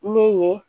Ne ye